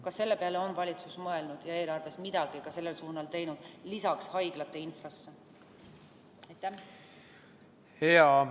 Kas selle peale on valitsus mõelnud ja eelarves lisaks haiglate infrasse midagi ka sellel suunal teinud?